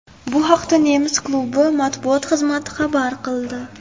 Bu haqda nemis klubi matbuot xizmati xabar qildi .